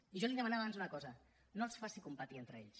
i jo li demanava abans una cosa no els faci competir entre ells